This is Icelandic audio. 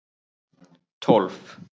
tólf